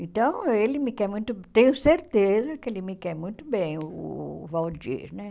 Então, ele me quer muito tenho certeza que ele me quer muito bem, o Waldir né.